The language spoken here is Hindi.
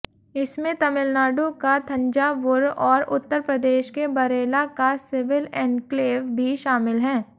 इसमें तमिलनाडु का थंजावुर और उत्तर प्रदेश के बरेला का सिविल एन्क्लेव भी शामिल हैं